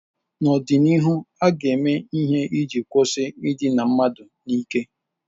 N'ọdịnihu, a ga-eme ihe iji kwụsị idina mmadụ n'ike.